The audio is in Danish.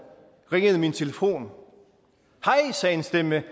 ringede min telefon og en stemme